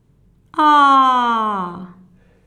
Aaaaa!